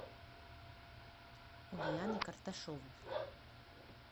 ульяны карташовой